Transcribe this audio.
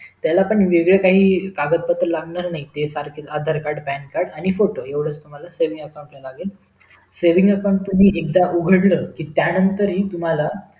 त्याला पण वेगळं काही कागतपत्र लागणार नाहीत ते सारखेच आधार card pan card आणि फोटो एवढाच तुम्हाला लागेल saving account लागेल saving account एकदा उघडलं कि त्यानंतर हि तुम्हाला